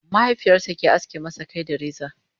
mahaifiyarsa ke aske masa Kai da reza